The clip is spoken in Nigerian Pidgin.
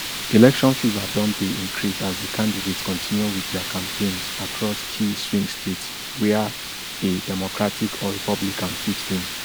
election fever don dey increase as di candidates continue wit dia campaigns across key swing states wia a democratic or republican fit win